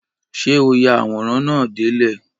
Ṣé o ya àwòrán náà dé ilẹ̀?